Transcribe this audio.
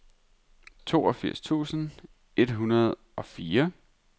toogfirs tusind et hundrede og fire